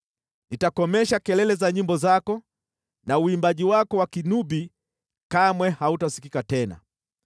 Nitakomesha kelele za nyimbo zako, na uimbaji wako wa kinubi kamwe hautasikika tena.